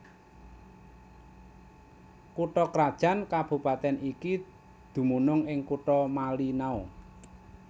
Kutha krajan kabupatèn iki dumunung ing Kutha Malinau